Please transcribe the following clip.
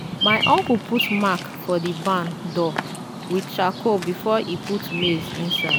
my uncle put mark for the barn door with charcoal before e put maize inside.